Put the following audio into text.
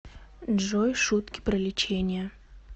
джой шутки про лечение